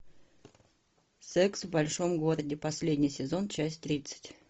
секс в большом городе последний сезон часть тридцать